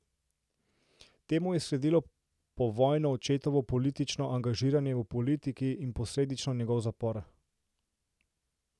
Temu je sledilo povojno očetovo politično angažiranje v politiki in posledično njegov zapor.